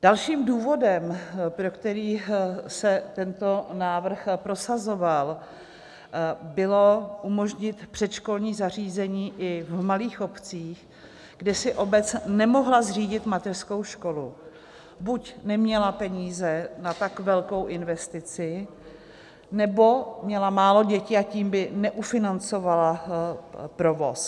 Dalším důvodem, pro který se tento návrh prosazoval, bylo umožnit předškolní zařízení i v malých obcích, kde si obec nemohla zřídit mateřskou školu - buď neměla peníze na tak velkou investici, nebo měla málo dětí a tím by neufinancovala provoz.